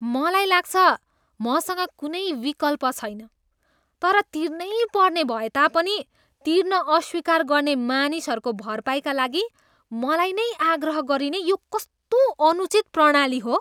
मलाई लाग्छ मसँग कुनै विकल्प छैन। तर तिर्नैपर्ने भएता पनि तिर्न अस्वीकार गर्ने मानिसहरूको भरपाईका लागि मलाई नै आग्रह गरिने यो कस्तो अनुचित प्रणाली हो?